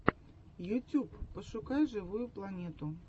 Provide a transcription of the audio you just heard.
ютьюб пошукай живую планету